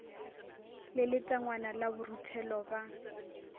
le letangwana la boruthelo ba